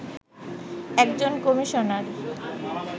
একজন কমিশনার